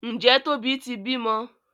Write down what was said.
Njé Tóbi tí bímọ?